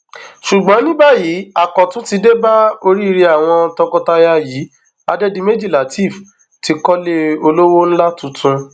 ṣùgbọn ní báyìí àkọtun ti dé bá oríire àwọn tọkọtaya yìí adédìméjì látẹẹf ti kọlé olówó ńlá tuntun